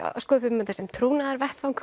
sköpuðum þetta sem